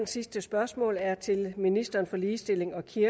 sidste spørgsmål er til ministeren for ligestilling og kirke